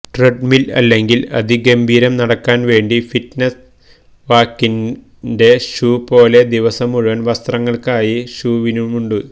treadmill അല്ലെങ്കിൽ അതിഗംഭീരം നടക്കാൻ വേണ്ടി ഫിറ്റ്നസ് വാക്കിൻറെ ഷൂ പോലെ ദിവസം മുഴുവൻ വസ്ത്രങ്ങൾക്കായി ഷൂവിനുണ്ട്